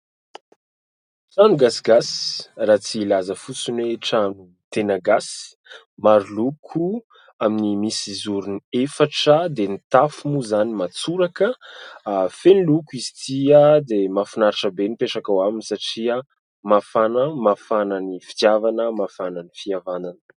Trano gasigasy raha tsy hilaza fotsiny hoe "trano tena gasy", maro loko amin'ny misy zorony efatra dia ny tafo moa izany matsoraka, feno loko izy tia dia mahafinaritra be ny mipetraka ao aminy satria mafana: mafana ny fitiavana, mafana ny fihavanana.